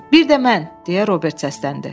Bir də mən, deyə Robert səsləndi.